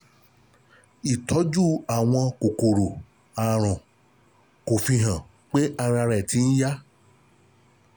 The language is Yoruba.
ìtọ́jú àwọn kòkòrò àrùn, kò fi hàn pé ara rẹ̀ ti ń yá